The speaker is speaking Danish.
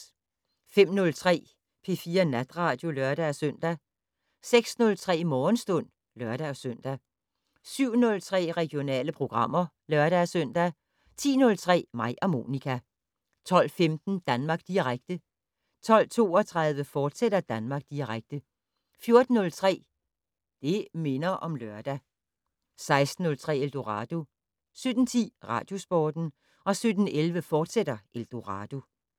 05:03: P4 Natradio (lør-søn) 06:03: Morgenstund (lør-søn) 07:03: Regionale programmer (lør-søn) 10:03: Mig og Monica 12:15: Danmark Direkte 12:32: Danmark Direkte, fortsat 14:03: Det' Minder om Lørdag 16:03: Eldorado 17:10: Radiosporten 17:11: Eldorado, fortsat